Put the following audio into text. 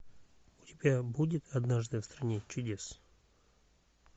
у тебя будет однажды в стране чудес